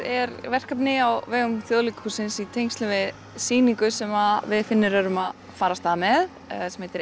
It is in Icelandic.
er verkefni á vegum Þjóðleikhússins í tengslum við sýningu sem við Finnur erum að fara af stað með sem heitir